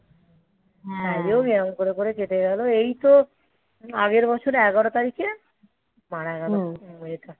এরকম করে করে কেটে গেলো এই তো আগের বছরে এগারো তারিখে মারা গেলো